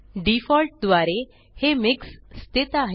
default द्वारे हे MIXस्थित आहे